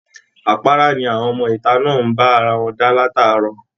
Àpára ni àwọn ọmọ ìta náà ń bá ara wọn dá látàárọ̀